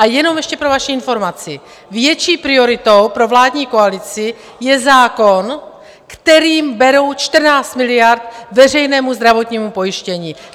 A jenom ještě pro vaši informaci, větší prioritou pro vládní koalici je zákon, kterým berou 14 miliard veřejnému zdravotnímu pojištění!